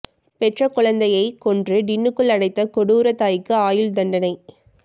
பெற்ற குழந்தையை கொன்று டின்னுக்குள் அடைத்த கொடூர தாய்க்கு ஆயுள் தண்டனை